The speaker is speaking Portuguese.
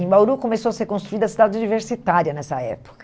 Em Bauru começou a ser construída a cidade universitária nessa época.